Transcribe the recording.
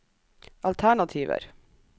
alternativer